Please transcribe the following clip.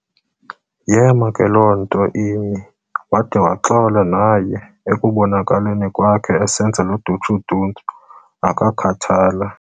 Yeema ke loo nto imi, wade waxola naye ekubonakaleni kwakhe esenza loo duntsu-duntsu akakhathala.